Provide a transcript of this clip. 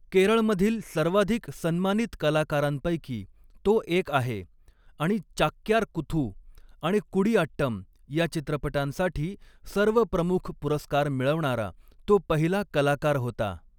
केरळमधील सर्वाधिक सन्मानित कलाकारांपैकी तो एक आहे आणि चाक्यार कुथू आणि कुडियाट्टम या चित्रपटांसाठी सर्व प्रमुख पुरस्कार मिळवणारा तो पहिला कलाकार होता.